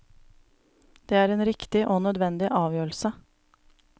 Det er en riktig og nødvendig avgjørelse.